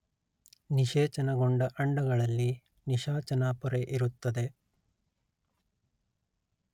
ನಿಶೇಚನಗೊಂಡ ಅಂಡಗಳಲ್ಲಿ ನಿಶಾಚನಾ ಪೊರೆ ಇರುತ್ತದೆ